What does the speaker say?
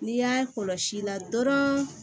N'i y'a kɔlɔsi i la dɔrɔn